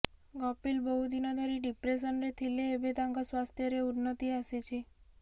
କପିଲ ବହୁଦିନ ଧରି ଡିପ୍ରେସନରେ ଥିଲେ ଏବେ ତାଙ୍କ ସ୍ୱାସ୍ଥ୍ୟରେ ଉନ୍ନତି ଆସିଛି